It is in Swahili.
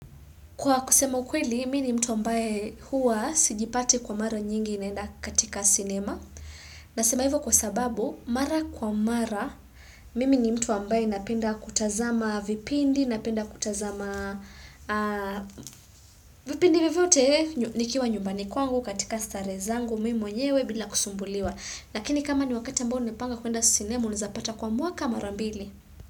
Kwa kusema ukweli, mimi ni mtu ambaye huwa sjipati kwa mara nyingi naenda katika sinema. Nasema hivyo kwa sababu, mara kwa mara, mimi ni mtu ambaye napenda kutazama vipindi, napenda kutazama vipindi vyovyote nikiwa nyumbani kwangu katika starehe zangu, mimi mwenyewe bila kusumbuliwa. Lakini kama ni wakati ambao nimepanga kuenda sinema, unaezapata kwa mwaka marambili.